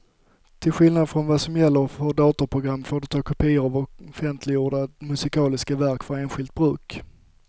Till skillnad från vad som gäller för datorprogram får du ta kopior av offentliggjorda musikaliska verk för enskilt bruk.